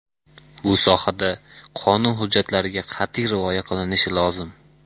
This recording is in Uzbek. Bu sohada qonun hujjatlariga qat’iy rioya qilinishi lozim.